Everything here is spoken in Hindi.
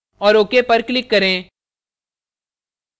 और ok पर click करें